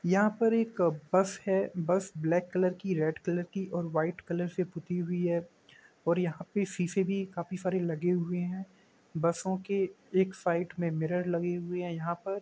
यहाँ पर एक अ बस है। बस ब्लैक कलर की रेड कलर की और वाइट कलर से पुती हुई है और यहाँ पे शीशे भी काफी सारे लगे हुए हैं। बसों के एक साइड में मिरर लगे हुए हैं यहाँ पर।